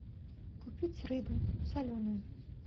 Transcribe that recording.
купить рыбу соленую